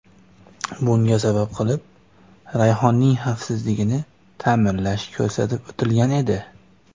Bunga sabab qilib Rayhonning xavfsizligini ta’minlash ko‘rsatib o‘tilgan edi .